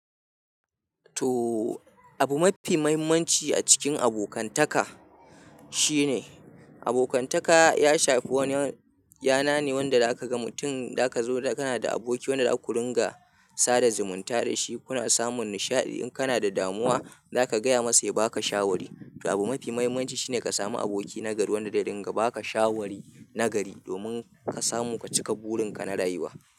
To abu mafi muhimmanci a cikin abokantaka shine abokantaka ya shafi wani yana ne wanda zaka ga mutum da aka zo kana da aboki wanda aka runga sada zumunta da shi. Kuna samun nishaɗi in kana da damuwa za ka gaya masa ya baka shawari. To abu mafi muhimmanci shine ka samu aboki na gari wanda da ringa baka shawari na gari domin ka samu ka cika burin ka na rayuwa.